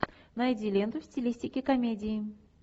найди ленту в стилистике комедии